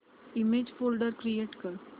image folder create कर